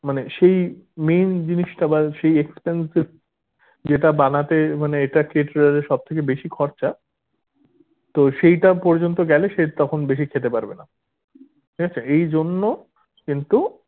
মানে সেই main জিনিসটা বা সেই expensive যেটা বানাতে মানে এটা catterer এর সব থেকে বেশি খরচা তো সেইটা পর্যন্ত গেলে সে তখন বেশি খেতে পারবেনা ঠিক আছে এইজন্য কিন্তু